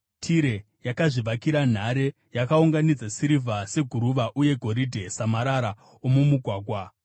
Tire yakazvivakira nhare; yakaunganidza sirivha seguruva uye goridhe samarara omumugwagwa.